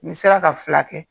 Ni sera ka fila kɛ.